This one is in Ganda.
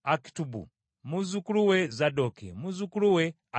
muzzukulu we Zadooki, ne muzzukulu we Akimaazi.